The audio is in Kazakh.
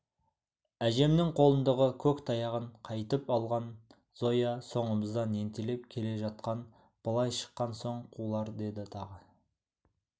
әжемнің қолындағы көк таяғын қайтып алған зоя соңымыздан ентелеп келе жатқан былай шыққан соң қулар деді тағы